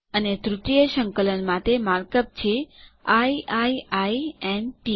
અને તૃતીય સંકલન માટે માર્ક અપ છે આઇ આઇ આઇ ન ટી